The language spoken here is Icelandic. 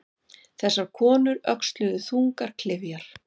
Þessar konur öxluðu þungar klyfjar.